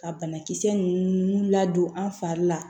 Ka banakisɛ ninnu ladon an fari la